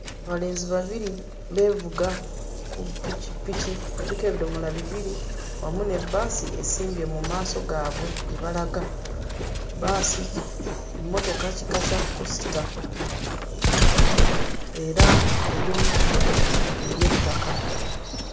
Abalenzi babiri beevuga ku pikipiki, kuliko ebidomola bibiri wamu ne bbaasi esimbye mu maaso gaabwe gye balaga. Emmotoka kika kya kkosita era eri mu kkubo ery'ettaka.